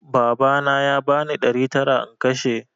Babana ya bani ɗari tara in kashe